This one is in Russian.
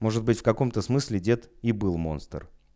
может быть в каком то смысле дед и был монстр